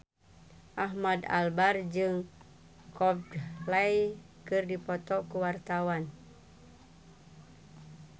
Ahmad Albar jeung Coldplay keur dipoto ku wartawan